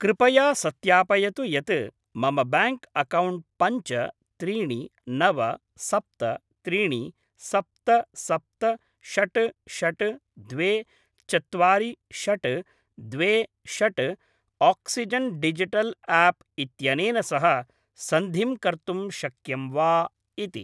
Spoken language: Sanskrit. कृपया सत्यापयतु यत् मम ब्याङ्क् अक्कौण्ट् पञ्च त्रीनि नव सप्त त्रीणि सप्त सप्त षट् षट् द्वे चत्वारि षट् द्वे षट् आक्सिजेन् डिजिटल् आप् इत्यनेन सह सन्धिं कर्तुं शक्यं वा इति।